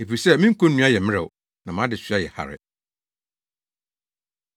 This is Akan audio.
Efisɛ me konnua yɛ mmerɛw, na mʼadesoa yɛ hare.”